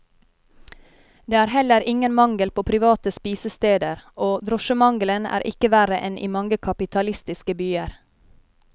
Det er heller ingen mangel på private spisesteder, og drosjemangelen er ikke verre enn i mange kapitalistiske byer.